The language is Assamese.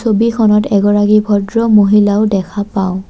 ছবিখনত এগৰাকী ভদ্ৰ মহিলাও দেখা পাওঁ।